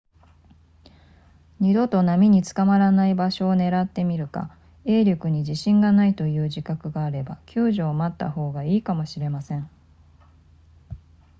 二度と波に捕まらない場所を狙ってみるか泳力に自信がないという自覚があれば救助を待った方がいいかもしれません